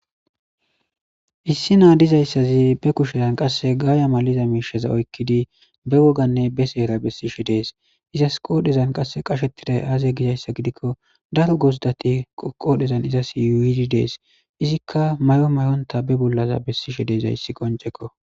issi naa dizayssazi be kushezan qasse gaaya maliza miisheza oykkidi be woganne be seera bessishe dees izas qoodhezan qasse qashettiday aaze gizayssa gidikko daro gozidati qodhezan izas yuyid dees izikka mayo mayonita be bollaza bessishe de'izayssi qoncekko